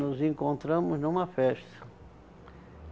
Nos encontramos numa festa.